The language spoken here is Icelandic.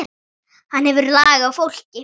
Hann hefur lag á fólki.